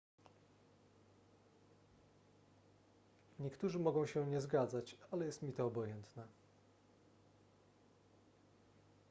niektórzy mogą się nie zgadzać ale jest mi to obojętne